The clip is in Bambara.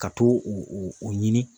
Ka t'o o o ɲini